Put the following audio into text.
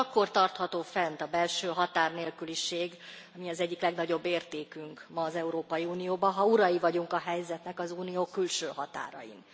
Csak akkor tartható fent a belső határnélküliség ami az egyik legnagyobb értékünk ma az Európai Unióban ha urai vagyunk a helyzetnek az Unió külső határain.